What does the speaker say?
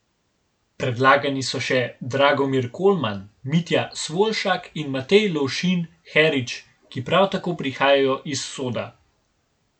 Predlagani so še Dragomir Kolman, Mitja Svoljšak in Matej Lovšin Herič, ki prav tako prihajajo iz Soda.